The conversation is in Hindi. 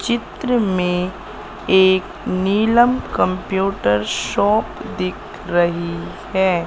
चित्र में एक नीलम कंप्यूटर शॉप दिख रही है।